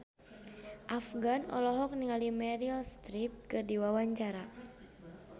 Afgan olohok ningali Meryl Streep keur diwawancara